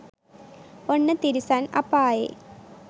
ඔන්න තිරිසන් අපායේ